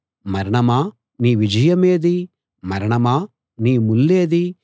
మరణమా నీ విజయమేది మరణమా నీ ముల్లేది